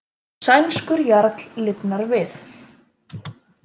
Sænskur jarl lifnar við